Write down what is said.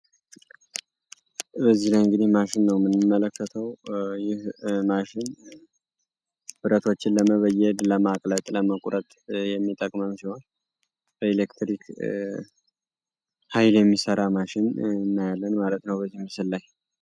በዚህ ላይ እንግዲህ ማሽን ነው ምንምመለከተው ይህ ማሽን ብረቶችን ለመበየድ ለማቅለጥ ለመቁረት የሚጠቅመን ሲሆን በኤሌክትሪክ ኃይል የሚሰራ ማሽን እናያለን ማለት ነው በዚህ ምስል ላይ።